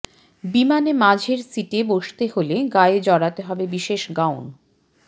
বিমানে মাঝের সিটে বসতে হলে গায়ে জড়াতে হবে বিশেষ গাউন